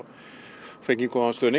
fengið góðan stuðning